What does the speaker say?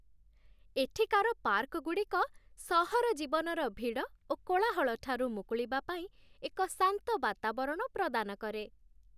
ଏଠିକାର ପାର୍କଗୁଡ଼ିକ ସହର ଜୀବନର ଭିଡ଼ ଓ କୋଳାହଳ ଠାରୁ ମୁକୁଳିବା ପାଇଁ ଏକ ଶାନ୍ତ ବାତାବରଣ ପ୍ରଦାନ କରେ।